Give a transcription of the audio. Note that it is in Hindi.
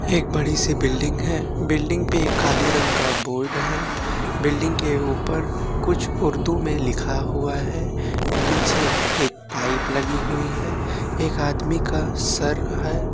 एक बड़ी सी बिल्डिंग है बिल्डिंग पे एक काले रंग बोर्ड है बिल्डिंग के ऊपर कुछ उर्दू में लिखा हुआ है निचे एक पाइप लगी हुई है एक आदमी का सर है।